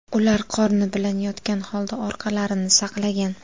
Ular qorni bilan yotgan holda orqalarini saqlagan.